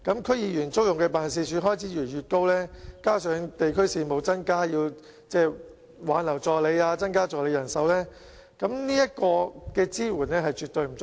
區議員租用辦事處的開支越來越高，加上地區事務增加，需要挽留助理和增加助理人手，在這方面的支援絕對不足夠。